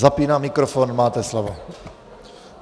Zapínám mikrofon, máte slovo.